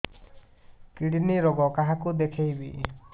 kidney ରୋଗ କାହାକୁ ଦେଖେଇବି